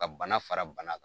Ka bana fara bana k